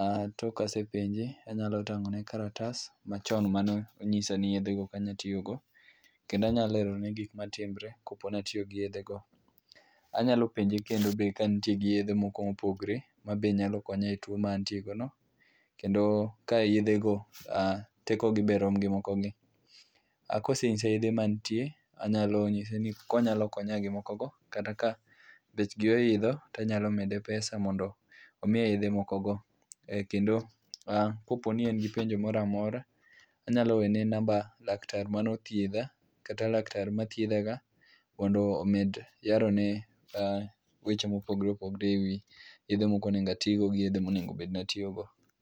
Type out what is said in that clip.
Ah tok ka asepenje anyalo tang'one kalatas machon mane onyisa ni yedhego ok anyal tiyo go kendo anyalo nyise gik matimore kaponi atiyo gi yedhego. A nyalo penje kendo be ka entie gi yedhe moko mopogore ma be nyalo konya e two ma antie gono kendo ka yedhe go tekogi be rom gi moko gi. Ahkosenyisa yedhe mantie anyalo nyise be konyalo konya be gimokogo, kabechgi oidho to anyalo mede pesa mondo omiya ydhe mokogo kendo kopo ni en gi penjo moro amora anyalo wene namba laktar mane othiedha kata laktar mathiedhaga mondo omed yarone weche mopogore opogore ewi yedhe ma ok onego bed ni atiyogo gi yedhe monego bed ni atiyogo.